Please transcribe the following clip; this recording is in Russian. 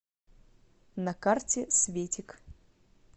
на карте светик